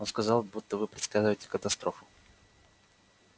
он сказал будто вы предсказываете катастрофу